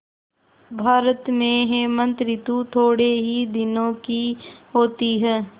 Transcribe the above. भारत में हेमंत ॠतु थोड़े ही दिनों की होती है